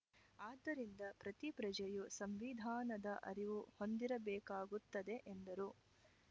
ಆದ್ದರಿಂದ ಪ್ರತಿ ಪ್ರಜೆಯು ಸಂವಿಧಾನದ ಅರಿವು ಹೊಂದಿರಬೇಕಾಗುತ್ತದೆ ಎಂದರು